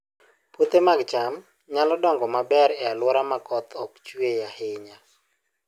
Puothe mag cham nyalo dongo maber e alwora ma koth ok chue ahinya